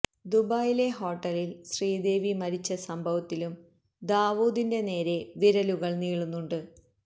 ദുബായിലെ ഹോട്ടലിൽ ശ്രീദേവി മരിച്ച സംഭവത്തിലും ദാവൂദിന്റെ നേരെ വിരലുകൾ നീളുന്നുണ്ട്